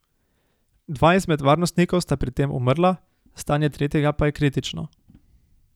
Dva izmed varnostnikov sta pri tem umrla, stanje tretjega pa je kritično.